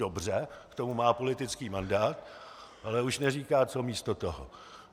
Dobře, k tomu má politický mandát, ale už neříká, co místo toho.